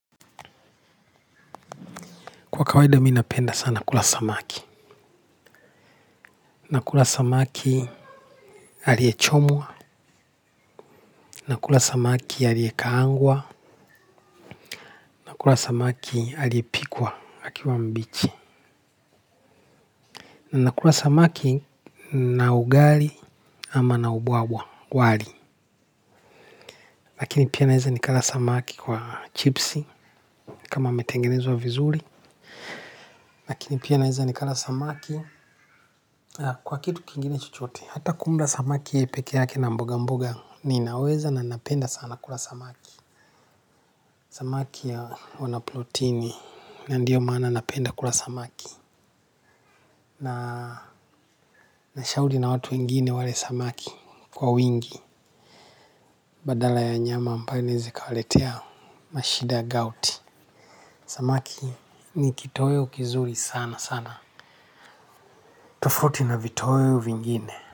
Kwa kawaids minapenda sana kula samaki. Nakula samaki aliyechomwa. Nakula samaki aliekaangwa. Nakula samaki aliepikwa akiwa mbichi. Nakula samaki na ugali ama na ubwabwa wali. Lakini pia naeza nikala samaki kwa chipsi kama ametengenezwa vizuri. Lakini pia naeza nikala samaki kwa kitu kingine chochote. Hata kumla samaki peke yake na mboga mboga niinaweza na napenda sana kula samaki. Samaki ya huwa na plotini na ndiyo maana napenda kula samaki. Na nashauli na watu wengine wale samaki kwa wingi badala ya nyama ambayo inaeza ikawaletea mashida. Samaki ni kitoeo kizuri sana sana. Tofauti na vitoeo vingine.